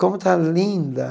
Como está linda!